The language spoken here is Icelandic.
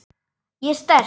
Ég er sterk.